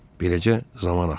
Beləcə zaman axırdı.